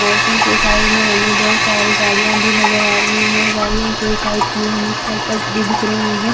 औरतों के साड़ी में हमें बहोत सारी गाड़ियां भी नजर आ रही है गाडियां के साइड में हमें साइकल्स भी दिख रहे हैं।